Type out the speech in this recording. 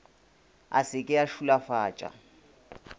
a se ke a šulafatša